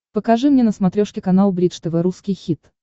покажи мне на смотрешке канал бридж тв русский хит